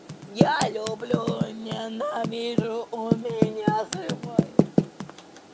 я люблю ненавижу у меня срывает